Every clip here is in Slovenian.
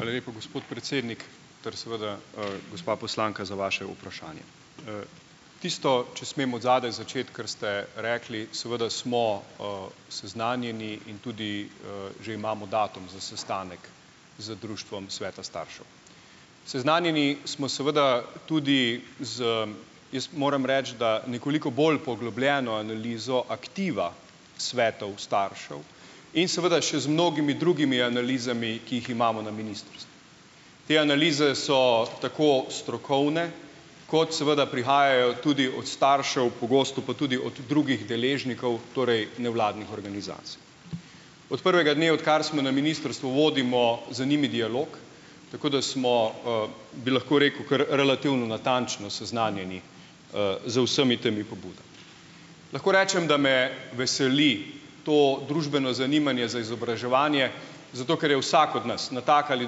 Hvala lepa, gospod predsednik ter seveda gospa poslanka za vaše vprašanje. Tisto, če smem od zadaj začeti, kar ste rekli, seveda smo, seznanjeni in tudi, že imamo datum za sestanek z Društvom sveta staršev. Seznanjeni smo seveda tudi z, jaz moram reči, da nekoliko bolj poglobljeno analizo aktiva svetov staršev in seveda še z mnogimi drugimi analizami, ki jih imamo na ministrstvu. Te analize so tako strokovne, kot seveda prihajajo tudi od staršev, pogosto pa tudi od drugih deležnikov, torej nevladnih organizacij. Od prvega dne, odkar smo na ministrstvu, vodimo z njimi dialog, tako da smo, bi lahko rekel, kar relativno natančno seznanjeni, z vsemi temi pobudami. Lahko rečem, da me veseli to družbeno zanimanje za izobraževanje, zato ker je vsak od nas na tak ali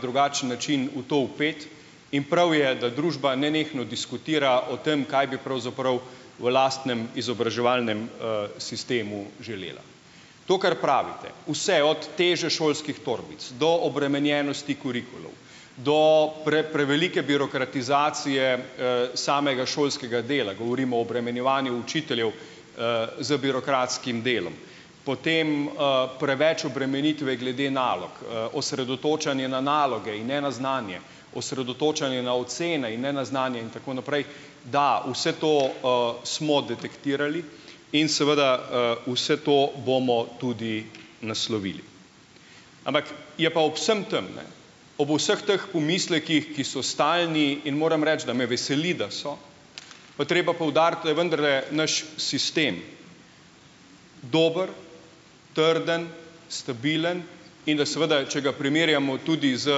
drugačen način v to vpet in prav je, da družba nenehno diskutira o tem, kaj bi pravzaprav v lastnem izobraževalnem, sistemu želela. To kar pravite, vse od teže šolskih torbic do obremenjenosti kurikulov, do prevelike birokratizacije, samega šolskega dela, govorimo o obremenjevanju učiteljev, z birokratskim delom, potem, preveč obremenitve glede nalog, osredotočanje na naloge in ne na znanje, osredotočanje na ocene in ne na znanje, in tako naprej, da, vse to, smo detektirali in seveda, vse to bomo tudi naslovili. Ampak je pa ob vsem tem, ne, ob vseh teh pomislekih, ki so stalni, in moram reči, da me veseli, da so, pa je treba poudariti, da je vendarle naš sistem dober, trden, stabilen in da seveda, če ga primerjamo tudi z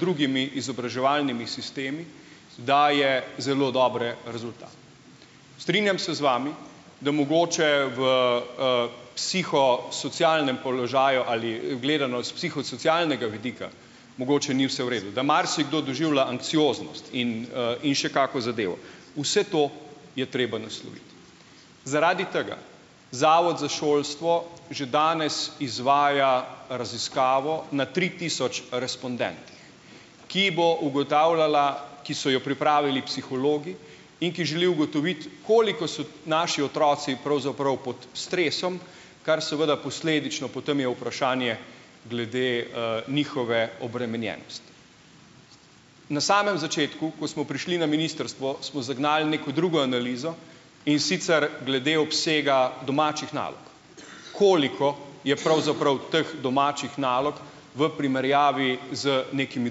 drugimi izobraževalnimi sistemi, daje zelo dobre rezultate. Strinjam se z vami, da mogoče v, psihosocialnem položaju ali gledano s psihosocialnega vidika mogoče ni vse v redu, da marsikdo doživlja anksioznost in, in še kako zadevo. Vse to je treba nasloviti. Zaradi tega Zavod za šolstvo že danes izvaja raziskavo na tri tisoč respondentih, ki bo ugotavljala, ki so jo pripravili psihologi in ki želijo ugotoviti, koliko so naši otroci pravzaprav pod stresom, kar seveda posledično potem je vprašanje glede, njihove obremenjenosti. Na samem začetku, ko smo prišli na ministrstvo, smo zagnali neko drugo analizo, in sicer glede obsega domačih nalog, koliko je pravzaprav teh domačih nalog v primerjavi z nekimi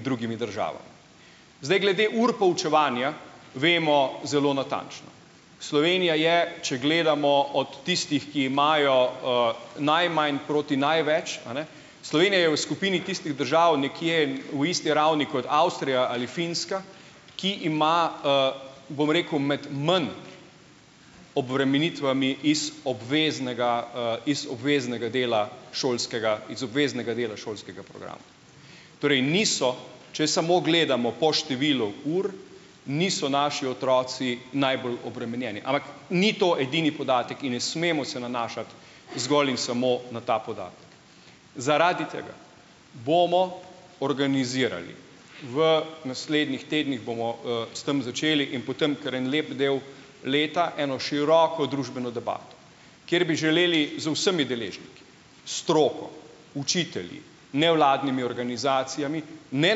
drugimi državami. Zdaj, glede ur poučevanja vemo zelo natančno. Slovenija je, če gledamo od tistih, ki imajo, najmanj proti največ, a ne, Slovenija je v skupini tistih držav nekje v isti ravni kot Avstrija ali Finska, ki ima, bom rekel, med manj obremenitvami iz obveznega, iz obveznega dela šolskega, iz obveznega dela šolskega programa, torej niso, če samo gledamo po številu ur, niso naši otroci najbolj obremenjeni, ampak ni to edini podatek, in ne smemo se nanašati zgolj in samo na ta podatek. Zaradi tega bomo organizirali, v naslednjih tednih bomo, s tem začeli in potem kar en lep del leta eno široko družbeno debato, kjer bi želeli z vsemi deležniki, stroko, učitelji, nevladnimi organizacijami, ne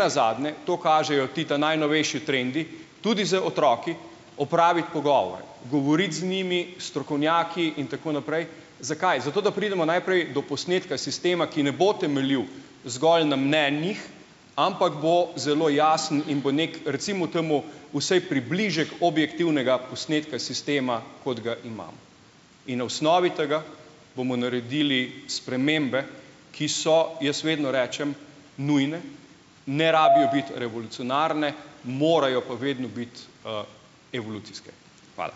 nazadnje to kažejo ti ta najnovejši trendi, tudi z otroki opraviti pogovor, govoriti z njimi, s strokovnjaki in tako naprej. Zakaj? Zato, da pridemo najprej do posnetka sistema, ki ne bo temeljil zgolj na mnenjih, ampak bo zelo jasen in bo neki, recimo temu, vsaj približek objektivnega posnetka sistema, kot ga imamo. In na osnovi tega bomo naredili spremembe, ki so, jaz vedno rečem, nujne, ne rabijo biti revolucionarne, morajo pa vedno biti, evolucijske. Hvala.